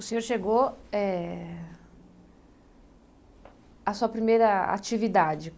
O senhor chegou eh... a sua primeira atividade.